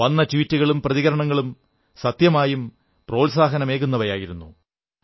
വന്ന ട്വീറ്റുകളും പ്രതികരണങ്ങളും സത്യമായും പ്രോത്സാഹനമേകുന്നവയായിരുന്നു